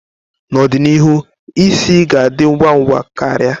N'ọdịnihu, isi ga ndị ngwa ngwa ka ria.